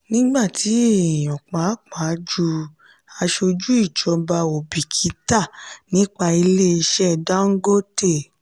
nígbà tí èèyàn pàápàá jù aṣojú ìjọba ò bìkítà nípa ilé ìṣe dangote.